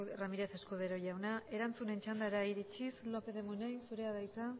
ramírez escudero jauna erantzunen txandara iritsiz lópez de munain zurea da hitza